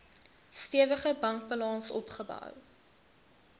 stewige bankbalans opgebou